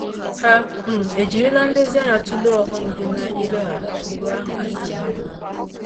Hà um ejirila nlezianya tụlee ọghọm dị na-ileghara ụkpụrụ ahụ anya?